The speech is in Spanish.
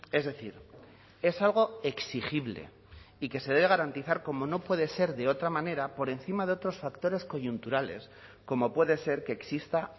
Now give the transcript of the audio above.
es decir es algo exigible y que se debe garantizar como no puede ser de otra manera por encima de otros factores coyunturales como puede ser que exista